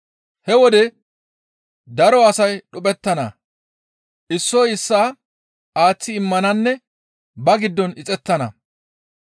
«He wode daro asay dhuphettana; issoy issaa aaththi immananne ba giddon ixettana.